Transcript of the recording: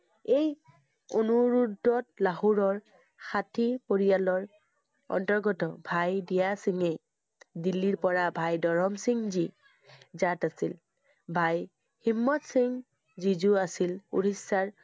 এই অনু~ৰোধত লাহোৰৰ ষাঠি পৰিয়ালৰ অন্তৰ্গত ভাই দিয়া সিংহে দিল্লীৰ পৰা ভাই দৰম সিংহ জী, জাত আছিল। ভাই হিম্মত সিংহ জিযো আছিল উৰিষ্যাৰ